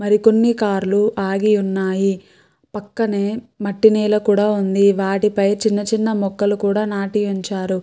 మరి కొన్ని కార్ లు ఆగి ఉన్నాయి. పక్కనే మట్టి నేల కూడా ఉంది. వాటి పై చిన్న చిన్న మొక్కలు కూడా నాటి ఉంచారు.